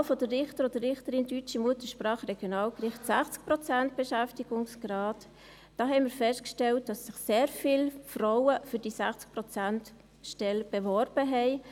Für die Wahl des Richters oder der Richterin deutscher Muttersprache für die Regionalgerichte, 60 Prozent Beschäftigungsgrad: Da haben wir festgestellt, dass sich sehr viele Frauen für diese 60Prozent-Stelle beworben haben.